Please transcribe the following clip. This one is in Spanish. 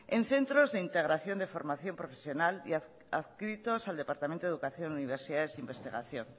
en centros de integración de formación profesional y adscritos al departamento de educación universidades e investigación